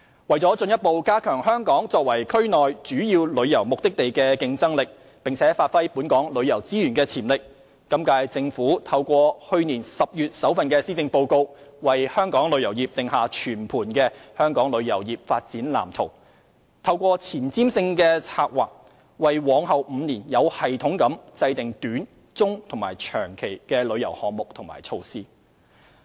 為進一步加強香港作為區內主要旅遊目的地的競爭力，並發揮本港旅遊資源的潛力，今屆政府透過去年10月的首份施政報告，為香港旅遊業定下全盤的《香港旅遊業發展藍圖》，透過前瞻性的策劃，為往後5年有系統地制訂短、中和長期的旅遊項目及措施。